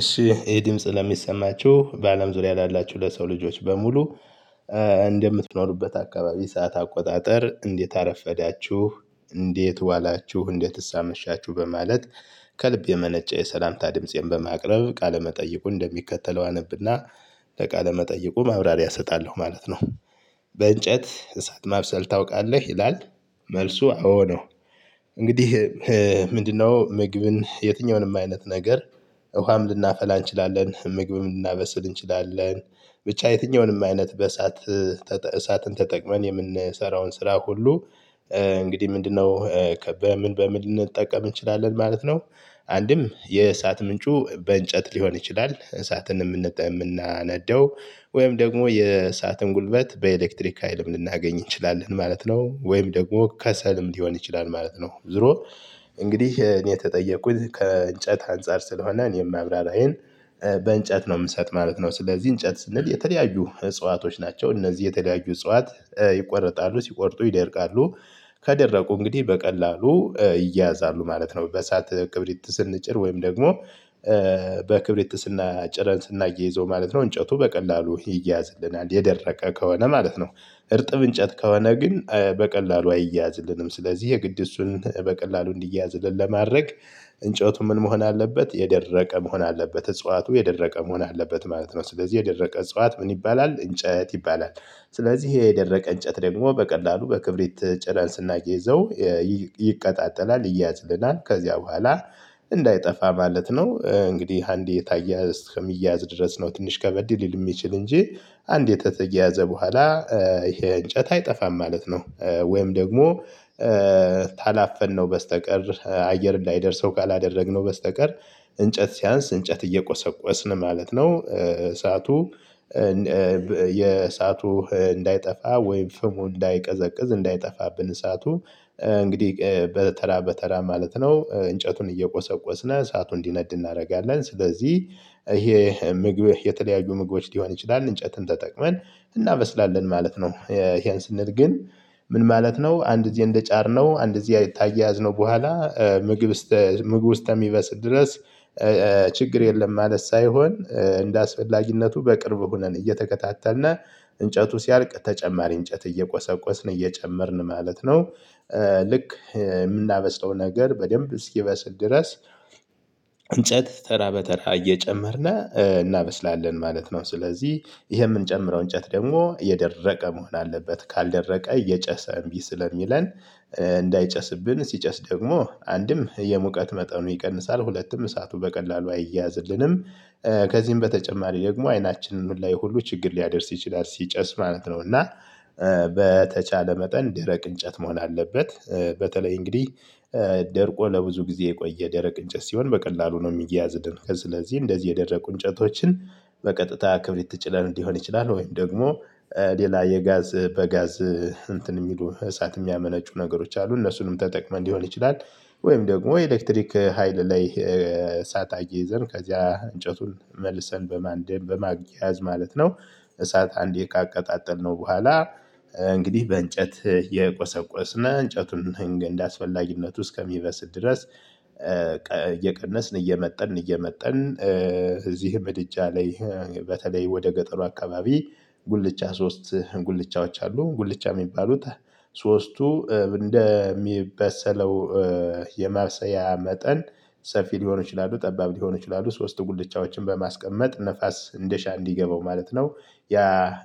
እሺ ይህ ድምጽ ለሚሰማችሁ በአለም ዙሪያ ላላችሁ ለሰው ልጆች በሙሉ እንደምትኖሩበት አካባቢ ሰዓት አቆጣጠር እንዴት አረፈዳችሁ እንዴት ዋላችሁ እንዴትስ አመሻችሁ በማለት። ከልብ የመነጨ የሰላምታ ድምፄን በማቅረብ ቃለመጠይቁ እንደሚከተለው አነብ እና ለቃለመጠይቁ ማብራሪያ እሰጣለሁ ማለት ነው። በእንጨት እሳት ማብሰል ታውቃለህ ይላል? መልሱ አዎ ነው። እንግዲህ ምንድነው ምግብን የትኛውንም አይነት ነገር? ውሃም ልናፈላ እንችላለን ምግብም ልናበስል እንችላለን ብቻ የትኛውንም አይነት በእሳት ተጠቀ መን እሳትን ተጠቅመን የምንሰራውን ስራ ሁሉ። እንግዲህ ምንድነው ከበምን በምን ልንጠቀም እንችላለን ማለት ነው። አንድም የእሳት ምንጩ በእንጨት ሊሆን ይችላል እሳትን ምንጠቀመው ምናነደው? ወይም ደግሞ የእሳትን ጉልበት በኤሌክትሪክ ሀይልም ልናገኝ እንችላለን ማለት ነው። ወይም ደግሞ ከሰልም ሊሆን ይችላል ማለት ነው። ዝሮ። እንግዲህ እኔ የተጠየቁት ከእንጨት አንፃር ስለሆነ እኔ ማብራራዬን በእንጨት ነው ምሰጥ ማለት ነው። ስለዚህ እንጨት ስንል የተለያዩ እጽዋቶች ናቸው እነዚህ የተለያዩ እጽዋት ይቆርጣሉ ሲቆርጡ ይደርቃሉ። ከደረቁ እንግዲህ በቀላሉ ይያዛሉ ማለት ነው። በሰአት ክብሪት ስንጭር ወይም ደግሞ በክብሪት ስና ጭረን ስናያይዘው ማለት ነው እንጨቱ በቀላሉ ይያያዝልናል የደረቀ ከሆነ ማለት ነው። እርጥብ እንጨት ከሆነ ግን በቀላሉ አይያዝልንም ስለዚህ የግድ እሱን በቀላሉ እንዲያዝልን ለማድረግ። እንጨቱ ምን መሆን አለበት የደረቀ መሆን አለበት እጽዋቱ የደረቀ መሆን አለበት ማለት ነው። ስለዚህ የደረቀ እጽዋት ምን ይባላል እንጨት ይባላል። ሥለዚህ የደረቀ እንጨት ደግሞ በቀላሉ በክብሪት ጭረ ን ስናያይዘው የ ይቅጣጠላል ይያዝልናል። ከዚያ በኋላ እንዳይጠፋ ማለት ነው። እንግዲህ አንዴ የታየ እስከ ሚያያዝ ድረስ ነው ትንሽ ከበድ ሊል የሚችል እንጂ። አንድ ከተየያዘ በኋላ ይሄ እንጨት አይጠፋም ማለት ነው። ወይም ደግሞ ታላፈን ነው በስተቀር አየር እንይደርሰው ካላደረግነው በስተቀር። እንጨት ሲያንስ እንጨት እየቆሰቆስን ማለት ነው እሳቱ። የእሳቱ እንዳይጠፋ ወይም ፍሙ እንዳይቀዘቅዝ እንዳይጠፋብን እሳቱ እንግዲህ በተራ በተራ ማለት ነው። እንጨቱን እየቆሰቆስነ እሳቱን እንዲነድ እናደርጋለን ስለዚህ ይሄ ምግብ የተለያዩ ምግቦች ሊሆን ይችላል እንጨትም ተጠቅመን እናበስላለን ማለት ነው። ይሄን ስንል ግን። ምን ማለት ነው አንድ ጊዜ እንደጫር ነው አንድ ጊዜ ካያያዝ ነው ነው በኋላ ምግብ እስተ ምግቡ እስተሚበስል ድረስ። ችግር የለም ማለት ሳይሆን እንደአስፈላጊነቱ በቅርብ ሆነን እየተከታተልነ እንጨቱ ሲያልቅ ተጨማሪ እንጨት እየቆሰቆስን እየጨመርን ማለት ነው። ልክ ምናበስተው ነገር በደንብ እስኪበስል ድረስ እንጨት ተራ በተራ እየጨመርን እናበስላለን ማለት ነው። ስለዚህ ይሄ የምንጨምረው እንጨት ደግሞ የደረቀ መሆን አለበት ካልደረቀ እየጨሰ እምቢ ስሥለሚለን። እንዳይጨስብን ሲጨስ ደግሞ አንድም የሙቀት መጠኑ ይቀንሳል ሁለትም እሳቱ በቀላሉ አይያዝልንም። ከዚህም በተጨማሪ ደግሞ አይናችንም ላይ ሁሉ ችግር ሊያደርስ ይችላል ሲጨስ ማለት ነው። እና በተቻለ መጠን ደረቅ እንጨት መሆን አለበት። በተለይ እንግዲህ ደርቆ ለብዙ ጊዜ የቆየ ደረቅ እንጨት ሲሆን በቀላሉ ነው ሚያያዝን። ስለዚህ እንደዚህ የደረቁ እንጨቶችን በቀጥታ ክብሪት ጭሪን ሊሆን ይችላል ወይም ደግሞ ሌላ የጋዝ በጋዝ እንትን የሚሉ እሳት የሚያመነጩ ነገሮች አሉ እነሱንም ተጠቅመን ሊሆን ይችላል። ወይም ደግሞ ኤሌክትሪክ ሀይል ላይ እሳት አያይዘን ከዚያ እንጨቱን መልሰን በማንደም በማየያዝ ማለት ነው። እሳት አንዴ ካቀጣጠል ነው በኋላ። እንግዲህ በእንጨት እቆሰቆሰነ እንጨቱን እንደ አስፈላጊነቱ እስከሚበስል ድረስ እየቀነስን እየመጠንን እየመጠንን እዚህ ምድጃ ላይ። በተለይ ወደ ገጠሩ አካባቢ። ጉልቻ ሶስት ጉልቻዎች አሉ ጉልቻ የሚባሉት። ሶስቱ እንደሚበሰለው የማብሰያ መጠን ሰፊ ሊሆን ይችላሉ ጠባብ ሊሆን ይችላሉ ሶስት ጉልቻዎችን በማስቀመጥ ነፋስ እንደሻ እንዲገባው ማለት ነው። ያ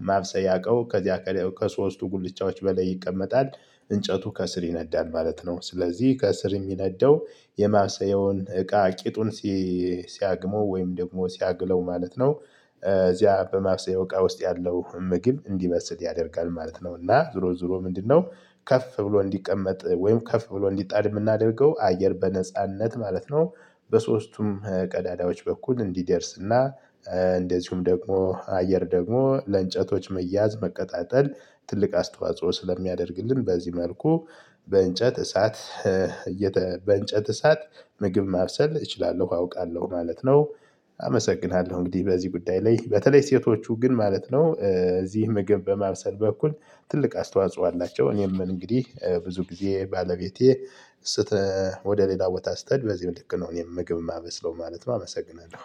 ማብሰያ እቀው ከዚያ ከሶስቱ ጉልቻዎች በላይ ይቀመጣል። እንጨቱ ከስር ይነዳን ማለት ነው። ስለዚህ ከስር የሚነዳው የማብሰየውን እቃ ቂጡን ሲ ሲያግመው ወይም ደግሞ ሲያግለው ማለት ነው። እዚያ በማብሰየው እቃ ውስጥ ያለው ምግብ እንዲበስል ያደርጋል ማለት ነው። እና ዝሮ ዝሮ ምንድነው? ከፍ ብሎ እንዲቀመጥ ወይም ከፍ ብሎ እንዲጣድ የምናደርገው አየር በነጻነት ማለት ነው። በሦስቱም ቀዳዳዎች በኩል እንዲደርስ እና እንደዚሁም ደግሞ አየር ደግሞ ለእንጨቶች መያዝ መቀጣጠል ትልቅ አስተዋጽኦ ስለሚያደርግልን በዚህ መልኩ። በእንጨት እሳት በእንጨት እሳት ምግብ ማብሰል እችላለሁ አውቃለሁ ማለት ነው። አመሰግናለሁ እንግዲህ በዚህ ጉዳይ ላይ በተለይ ሴቶቹ ግን ማለት ነው እዚህ ምግብ በማብሰል በኩል። ትልቅ አስተዋጽኦ አላቸው። እኔም እንግዲህ ብዙ ጊዜ ባለቤቴ። ስህተ ወደ ሌላ ቦታ ስትሄድ በዚህው ልክ ነው እኔም ምግብ ማበስለው ማለት ነው። አመሰግናለሁ